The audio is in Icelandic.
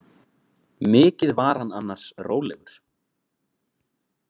Mikið var hann annars rólegur.